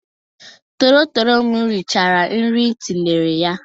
Tololo m richara nri m tinyere ya.